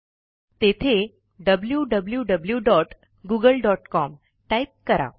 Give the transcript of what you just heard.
तेथे wwwgooglecom type करा